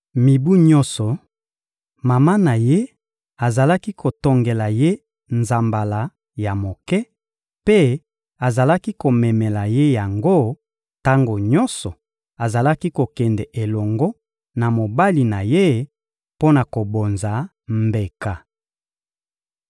Mibu nyonso, mama na ye azalaki kotongela ye nzambala ya moke, mpe azalaki komemela ye yango tango nyonso azalaki kokende elongo na mobali na ye mpo na kobonza mbeka.